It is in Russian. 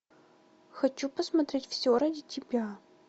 хочу посмотреть все ради тебя